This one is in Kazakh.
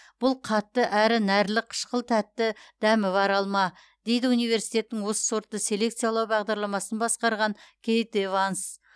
бұл қатты әрі нәрлі қышқыл тәтті дәмі бар алма дейді университеттің осы сортты селекциялау бағдарламасын басқарған кейт эванс